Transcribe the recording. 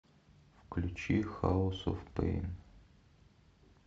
включи хаус оф пэйн